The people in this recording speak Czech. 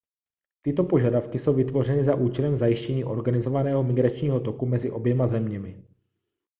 tyto požadavky jsou vytvořeny za účelem zajištění organizovaného migračního toku mezi oběma zeměmi